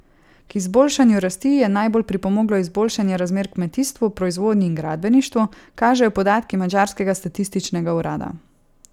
K izboljšanju rasti je najbolj pripomoglo izboljšanje razmer v kmetijstvu, proizvodnji in gradbeništvu, kažejo podatki madžarskega statističnega urada.